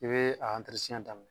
I bee a daminɛ.